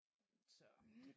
Så